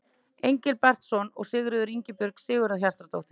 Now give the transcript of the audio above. Engilbertsson og Sigríður Ingibjörg Sigurhjartardóttir.